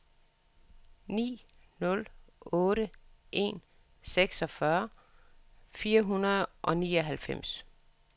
ni nul otte en seksogfyrre fire hundrede og nioghalvfems